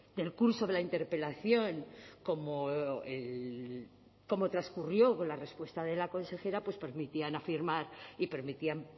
del curso de la interpelación como el como transcurrió con la respuesta de la consejera pues permitían afirmar y permitían